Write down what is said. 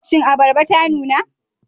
Shin abarba ta nuna?